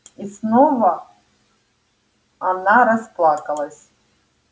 и снова она расплакалась